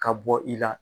Ka bɔ i la